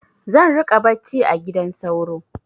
Zan riƙa bacci a gidan sauro.